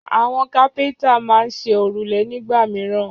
Àwọn kápẹ́ńtà máa ń ṣe òrùlé nígbà mìíràn.